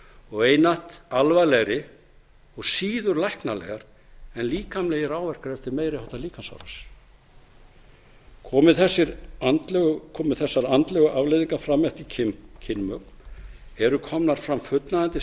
og einatt alvarlegri og síður læknanlegar en líkamlegir áverkar eftir meiri háttar líkamsárás komi þessar andlegu afleiðingar fram eftir kynmök eru komnar fram fullnægjandi